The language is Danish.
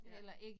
Ja